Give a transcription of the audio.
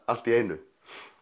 allt í einu